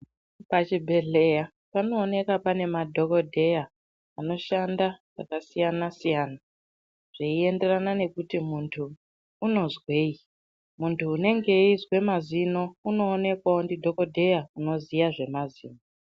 Pachibhehleya panoonekwa pane madhokodheya anoshanda zvakasiyana siyana zveienderana nekuti muntu unozwei. Muntu unenge eizwe mazino unoonekwawo ndidhokodheya unoziya zvemazino.